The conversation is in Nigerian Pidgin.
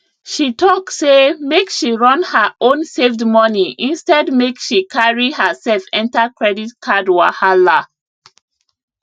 she talk say make she run her own saved money instead make she carry herself enter credit card wahala